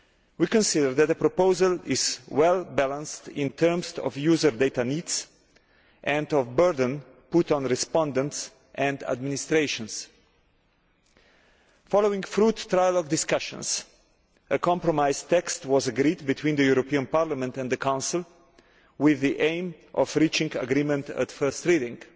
We consider that the proposal is well balanced in terms of user data needs and of the burden put on respondents and administrations. Following fruitful discussions, a compromise text was agreed between the European Parliament and the Council with the aim of reaching agreement at first reading.